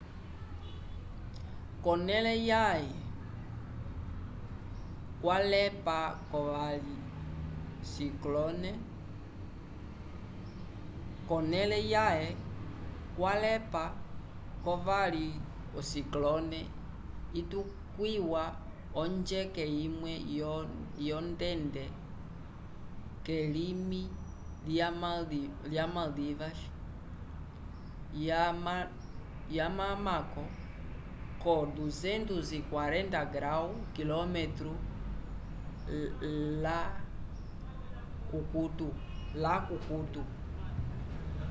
konele yaye kwalepa ko vali o ciclone itukwiwa onjeke imwe yo ndende kelimi lya maldivas ya mamako 240º km la kukuto